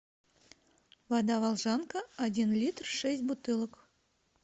вода волжанка один литр шесть бутылок